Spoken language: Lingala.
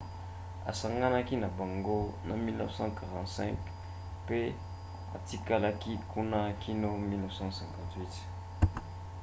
asanganaki na bango na 1945 mpe atikalaki kuna kino na 1958